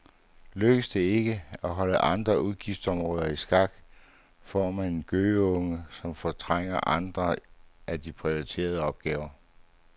Lykkes det ikke at holde andre udgiftsområder i skak, får man en gøgeunge, som fortrænger andre af de prioriterede opgaver.